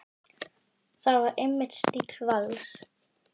Það var einmitt stíll Vals.